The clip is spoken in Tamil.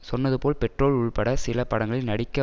சொன்னது போல் பெட்ரோல் உள்பட சில படங்களில் நடிக்க